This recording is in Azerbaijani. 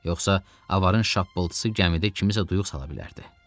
Yoxsa avarın şappıltısı gəmidə kimisə duyuq sala bilərdi.